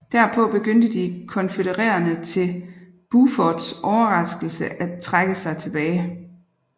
Derpå begyndte de konfødererede til Bufords overraskelse af trække sig tilbage